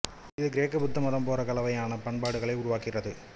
இது கிரேக்க புத்த மதம் போற கலவையான பண்பாடுகளை உருவாக்கிற்று